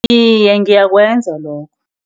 Iye, ngakwenza lokho.